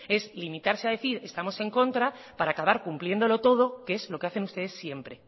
es limitarse a decir estamos en contra para acabar cumpliéndolo todo que es lo que hacen ustedes siempre